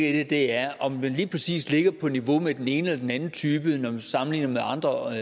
i det er om man lige præcis ligger på niveau med den ene eller den anden type når man sammenligner med andre